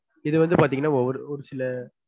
இது வந்து பாத்தீங்கனா ஒரு ஒரு சில